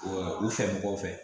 u fɛ mɔgɔw fɛ